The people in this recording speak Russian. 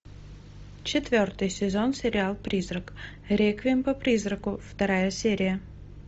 четвертый сезон сериал призрак реквием по призраку вторая серия